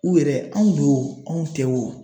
U yɛrɛ anw do o anw tɛ o